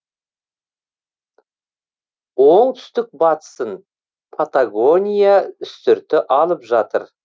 оңтүстік батысын патагония үстірті алып жатыр